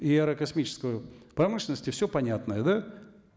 и аэрокосмической промышленности все понятно да